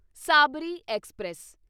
Sabri express